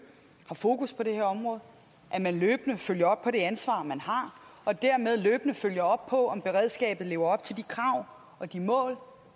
har fokus på det her område at man løbende følger op på det ansvar man har og dermed løbende følger op på om beredskabet lever op til de krav og de mål